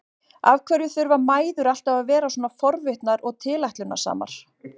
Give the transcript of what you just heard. Af hverju þurfa mæður alltaf að vera svona forvitnar og tilætlunarsamar?